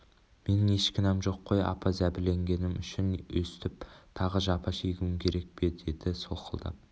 менің еш кінәм жоқ қой апа зәбірленгенім үшін өстіп тағы жапа шегуім керек пе деді солқылдап